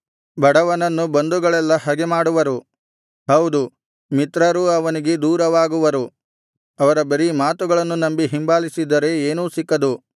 ಬಡವನನ್ನು ಬಂಧುಗಳೆಲ್ಲಾ ಹಗೆಮಾಡುವರು ಹೌದು ಮಿತ್ರರೂ ಅವನಿಗೆ ದೂರವಾಗುವರು ಅವರ ಬರೀ ಮಾತುಗಳನ್ನು ನಂಬಿ ಹಿಂಬಾಲಿಸಿದರೆ ಏನೂ ಸಿಕ್ಕದು